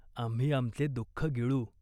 आम्ही आमचे दुःख गिळू.